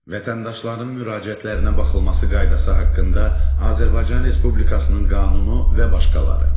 Vətəndaşların müraciətlərinə baxılması qaydası haqqında Azərbaycan Respublikasının qanunu və başqaları.